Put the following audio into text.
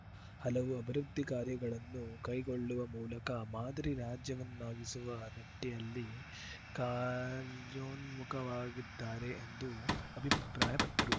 ಹಲವು ಅಭಿವೃದ್ಧಿ ಕಾರ್ಯಗಳನ್ನು ಕೈಗೊಳ್ಳುವ ಮೂಲಕ ಮಾದರಿ ರಾಜ್ಯವನ್ನಾಗಿಸುವ ನಿಟ್ಟಿಯಲ್ಲಿ ಕಾರ್ಯೋನ್ಮುಖವಾಗಿದ್ದಾರೆ ಎಂದು ಅಭಿಪ್ರಾಯಪಟ್ಟರು